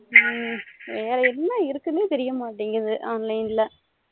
ஹம் வேற என்ன இருக்குனு தெரிய மாட்டிங்குது online